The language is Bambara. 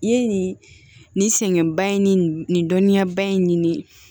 I ye nin sɛgɛnba in ni nin dɔnniya ba in ɲini